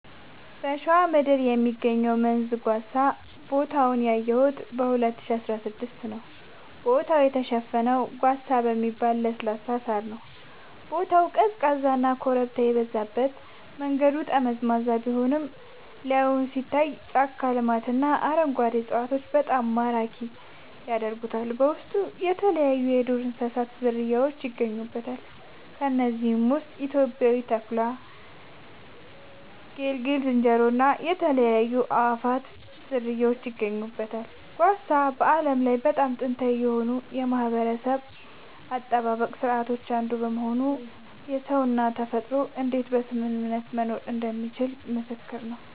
በሸዋ ምድር የሚገኘው መንዝ ጓሳ ቦታውን ያየሁት 2016 ነዉ ቦታው የተሸፈነው ጓሳ በሚባል ለስላሳ ሳር ነዉ ቦታው ቀዝቃዛና ኮረብታ የበዛበት መንገዱ ጠመዝማዛ ቢሆንም ላይን የሚታየው የጫካ ልማትና አረንጓዴ እፅዋቶች በጣም ማራኪ ያደርጉታል በውስጡ የተለያይዩ የዱር እንስሳት ዝርያውች ይገኙበታል ከነዚህም ውስጥ ኢትዮጵያዊው ተኩላ ጌልጌ ዝንጀሮ እና የተለያዩ የአእዋፋት ዝርያወች ይገኙበታል። ጓሳ በዓለም ላይ በጣም ጥንታዊ ከሆኑ የማህበረሰብ አጠባበቅ ስርዓቶች አንዱ በመሆኑ ሰውና ተፈጥሮ እንዴት በስምምነት መኖር እንደሚችሉ ምስክር ነዉ